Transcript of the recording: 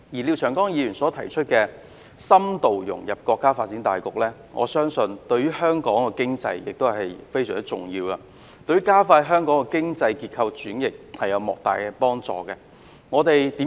廖長江議員提出深度融入國家發展大局，我相信這對香港經濟非常重要，也對於加快香港經濟結構轉型有莫大幫助。